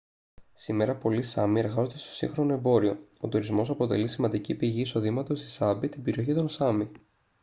σήμερα πολλοί σάμι εργάζονται στο σύγχρονο εμπόριο ο τουρισμός αποτελεί σημαντική πηγή εισοδήματος στη σάμπι την περιοχή των σάμι